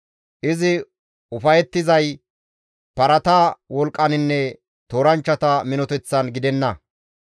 Izi ufayettizay parata wolqqaninne tooranchchata minoteththan gidenna.